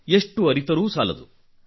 ಎಷ್ಟು ಅರಿತರೂ ಸಾಲದು